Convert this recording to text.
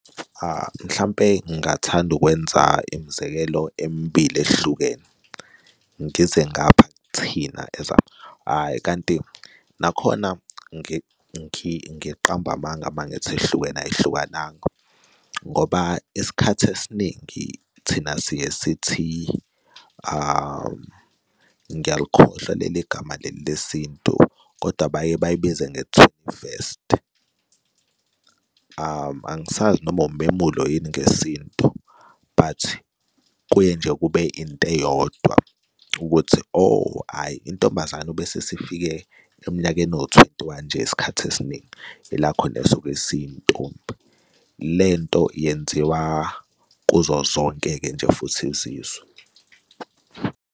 Mhlampe ngingathanda ukwenza imzekelo emibili ehlukene. Ngize ngapha kithina as hhayi, kanti nakhona ngiqamba amanga uma ngithi ihlukene ayihlukananga, ngoba isikhathi esiningi thina siye sithi ngiyalikhohlwa leli gama leli lesintu kodwa baye bayibize nge-twenty-first angisazi noma umemulo yini ngesintu but kuye nje kube into eyodwa ukuthi, oh, hhayi, intombazane ubese sifike eminyakeni ewu-twenty-one nje isikhathi esiningi ela khona isuke isiyintombi. Le nto yenziwa, kuzo zonke-ke nje futhi izizwe.